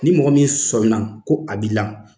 Ni mɔgɔ min sɔmin na ko a b'ila